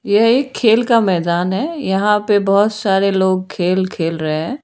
यह एक खेल का मैदान है यहां पे बहोत सारे लोग खेल खेल रहे हैं।